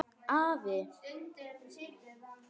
Afi!